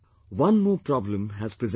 One more problem has presented itself